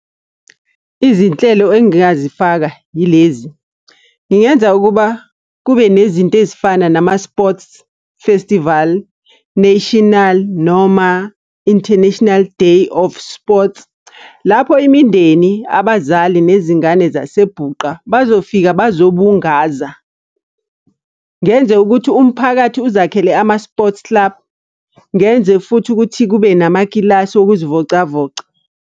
Izinhlelo engingazifaka yilezi, ngingenza ukuba kube nezinto ezifana nama-sports festival national noma international day of sports. Lapho imindeni, abazali, nezingane zaseBhuqa, bazofika bazobungaza. Ngenze ukuthi umphakathi uzakhele ama-sports club. Ngenze futhi ukuthi kube namakilasi okuzivocavoca.